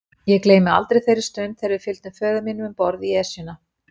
Ég gleymi aldrei þeirri stund þegar við fylgdum föður mínum um borð í Esjuna.